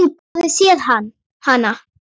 Að þú hafir séð hana?